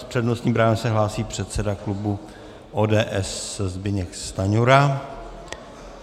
S přednostním právem se hlásí předseda klubu ODS Zbyněk Stanjura.